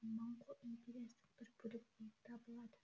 моңғол империясының бір бөлігі болып табылады